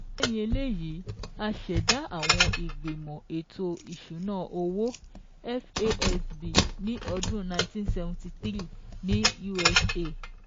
Lẹ́yìn eléyìí, a ṣẹ̀dá àwọn ìgbìmọ̀ ètò ìsúná owó FASB ní ọdún nineteen seventy three ní USA